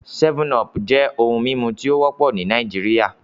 7Up jẹ ohun mimu ti o wọpọ ni Naijiria